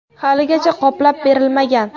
Haligacha qoplab berilmagan.